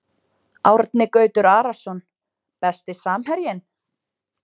Árni Gautur Arason Besti samherjinn?